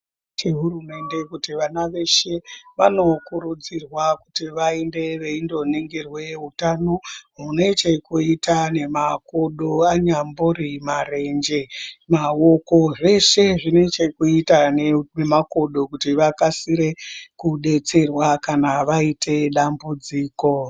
CheHurumende kuti vana veshe vanokurudzirwa kuti vaende veindoningirwa utano munechekuita nemakodo anyambori marenje maoko zveshe zvine chekuita nemakodo kuti vakasire kudetserwa kana vaite dambudziko.